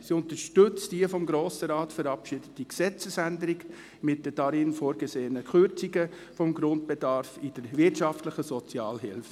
Sie unterstützt die vom Grossen Rat verabschiedete Gesetzesänderung mit den darin vorgesehenen Kürzungen des Grundbedarfs in der wirtschaftlichen Sozialhilfe.